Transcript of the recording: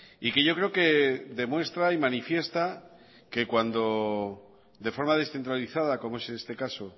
y que yo creo que demuestra y manifiesta que cuando de forma descentralizada como es este caso